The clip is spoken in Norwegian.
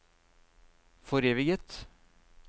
foreviget